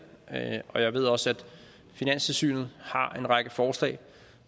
og jeg ved også at finanstilsynet har en række forslag